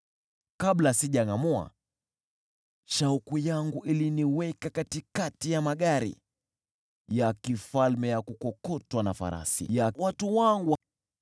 Kabla sijangʼamua, shauku yangu iliniweka katikati ya magari ya kifalme ya kukokotwa na farasi ya watu wangu.